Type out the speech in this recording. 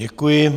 Děkuji.